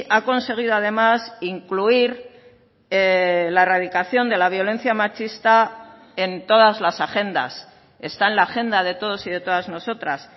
ha conseguido además incluir la erradicación de la violencia machista en todas las agendas está en la agenda de todos y de todas nosotras